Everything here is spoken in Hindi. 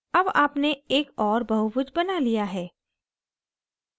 अब आपने एक और बहुभुज बना लिया है